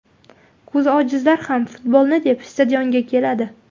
Ko‘zi ojizlar ham futbolni deb stadionga keladi.